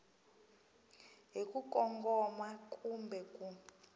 hi ku kongoma kumbe ku